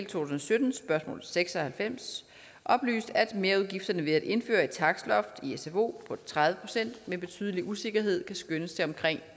tusind og sytten spørgsmål seks og halvfems oplyst at merudgifterne ved at indføre et takstloft i sfo på tredive procent med betydelig usikkerhed kan skønnes til omkring